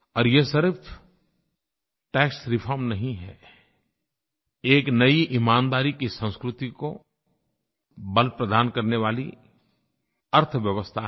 और ये सिर्फ टैक्स रिफॉर्म नहीं है एक नयी ईमानदारी की संस्कृति को बल प्रदान करने वाली अर्थव्यवस्था है